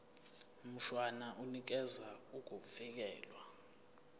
mshwana unikeza ukuvikelwa